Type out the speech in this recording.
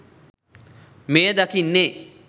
මෙය දකින්නේ